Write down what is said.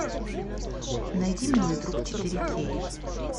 найди милый друг четыре кей